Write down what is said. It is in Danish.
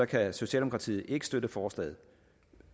kan socialdemokratiet ikke støtte forslaget